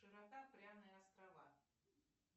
широта пряные острова